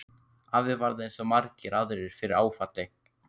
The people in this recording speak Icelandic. Afi varð eins og svo margir aðrir fyrir áfalli.